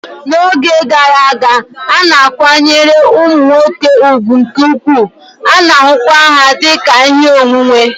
N'oge gara aga, a na-akwanyere ụmụ nwoke ùgwù nke ukwuu, a na-ahụkwa ha dị ka ihe onwunwe